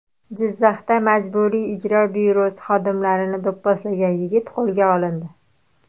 Jizzaxda Majburiy ijro byurosi xodimlarini do‘pposlagan yigit qo‘lga olindi.